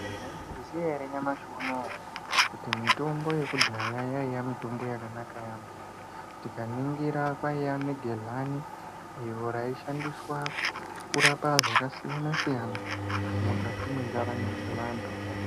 Mwaizviziya ere nyamashi unowo kuti mitombo yekudhaya yaiya mitombo yakanaka yaamho. Tikaningira kwaiya ne gehlani iro raishandiswa kurapa zvakasiyana siyana mukati mwendaramo dzevantu.